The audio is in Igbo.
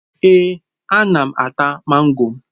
Ee, ana m ata mango.